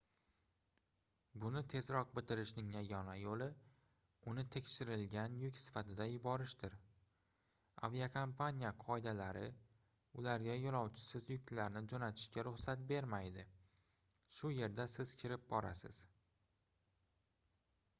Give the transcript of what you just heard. buni tezroq bitirishning yagona yoʻli uni tekshirilgan yuk sifatida yuborishdir aviakompaniya qoidalari ularga yoʻlovchisiz yuklarni joʻnatishga ruxsat bermaydi shu yerda siz kirib borasiz